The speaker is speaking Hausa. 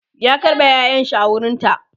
ya karɓe ƴaƴanshi a wurinta